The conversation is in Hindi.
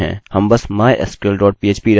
हम सफलतापूर्वक जुड़ गये